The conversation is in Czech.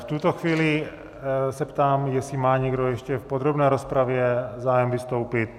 V tuto chvíli se ptám, jestli má někdo ještě v podrobné rozpravě zájem vystoupit.